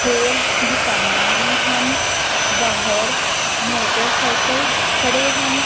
ਹੋਰ ਦੁਕਾਨਾਂ ਵੀ ਹਨ ਬਾਹਰ ਮੋਟਰਸਾਈਕਲ ਖੜੇ ਹਨ।